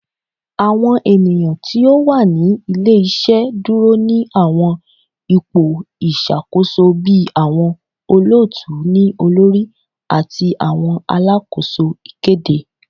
Awọn eniyan ti o wa ni ile-iṣẹ duro ni awọn ipo iṣakoso bi awọn olootu-ni-olori ati awọn alakoso ikede